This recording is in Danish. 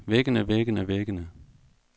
væggene væggene væggene